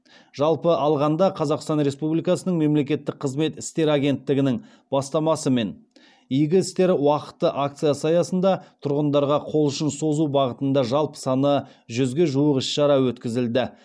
жалпы алғанда қазақстан республикасының мемлекеттік қызмет істері агенттігінің бастамасымен игі істер уақыты акциясы аясында тұрғындарға қол ұшын созу бағытында жалпы саны жүзге жуық іс шара өткізілді